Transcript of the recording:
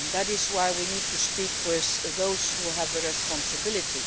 That is why we need to speak with those who have responsibility.